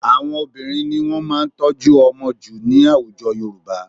Àwọn obìnrin ni wọ́n máa ń tọ́jú ọmọ jù ní àwùjọ Yorùbá